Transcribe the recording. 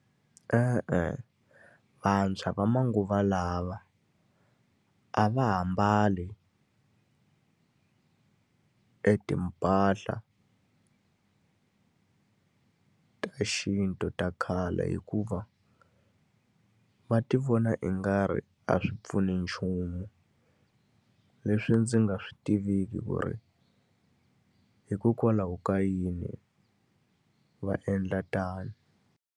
E-e, vantshwa va manguva lawa a va ha mbali etimpahla ta xintu ta khale hikuva va ti vona ingari a swi pfuni nchumu. Leswi ndzi nga swi tiviki ku ri hikokwalaho ka yini va endla tano.